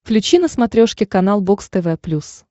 включи на смотрешке канал бокс тв плюс